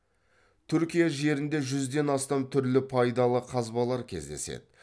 түркия жерінде жүзден астам түрлі пайдалы қазбалар кездеседі